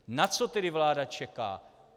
Na co tedy vláda čeká?